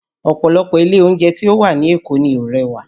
Ọ̀pọ̀lọpọ̀ ilé oúnjẹ tí ó wà ní Èkó ni ó rẹwà